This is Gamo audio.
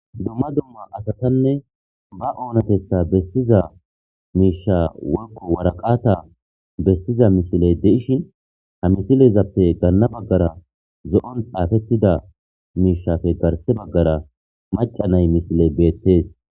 Dumma dumma asatanne ba oonatetha bestiza miisha wolko waraqata bessiza misiley de'ishin ha misilezappe ganna baggara zo'on xaafettida miishafe garse baggara maca nay misiley beettees.